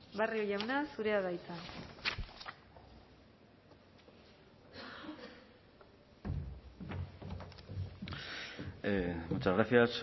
barrio jauna zurea da hitza muchas gracias